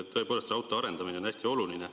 Tõepoolest, raudtee arendamine on hästi oluline.